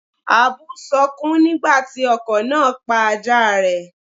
Àbú sọkún nígbà tí ọkọ̀ náà pa ajáa rẹ̀.